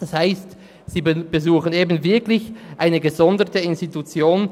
Das heisst, sie besuchen eben wirklich eine gesonderte Institution.